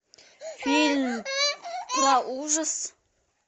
фильм про ужас